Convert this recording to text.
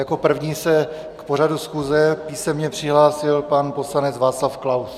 Jako první se k pořadu schůze písemně přihlásil pan poslanec Václav Klaus.